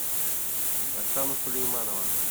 оксана сулейманова